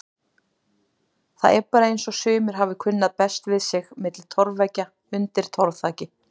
Það er bara eins og sumir hafi kunnað best við sig milli torfveggja undir torfþaki.